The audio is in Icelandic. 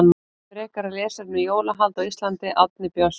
Frekara lesefni um jólahald á Íslandi Árni Björnsson.